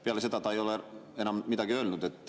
Peale seda ei ole ta enam midagi öelnud.